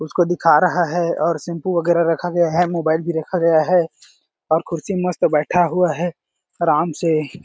इसको दिखा रहा है और शैम्पू वगेरा रखा गया है मोबाइल भी रखा गया है और कुर्सी में मस्त बैठा हुआ है आराम से--